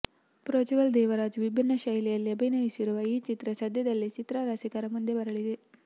ಪ್ರಜ್ವಲ್ ದೇವರಾಜ್ ವಿಭಿನ್ನ ಶೈಲಿಯಲ್ಲಿ ಅಭಿನಯಿಸಿರುವ ಈ ಚಿತ್ರ ಸದ್ಯದಲ್ಲೇ ಚಿತ್ರ ರಸಿಕರ ಮುಂದೆ ಬರಲಿದೆ